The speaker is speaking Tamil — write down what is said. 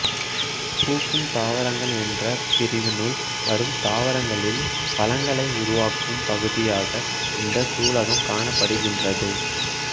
பூக்கும் தாவரங்கள் என்ற பிரிவினுள் வரும் தாவரங்களில் பழங்களை உருவாக்கும் பகுதியாக இந்த சூலகம் காணப்படுகின்றது